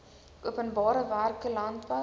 openbare werke landbou